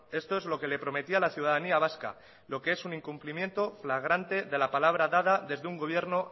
esto es lo que le prometía a la ciudadanía vasca lo que es un incumplimiento flagrante de la palabra dada desde un gobierno